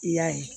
I y'a ye